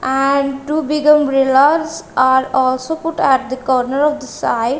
and two bigger are also put at the corner of the side.